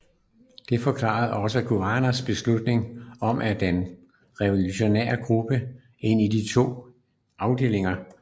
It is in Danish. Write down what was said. Det forklarede også Guevaras beslutning om at dele den revolutionære gruppe ind i to mindre afdelinger